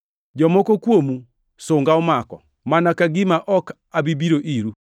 Jomoko kuomu sunga omako, mana ka gima ok abi biro iru.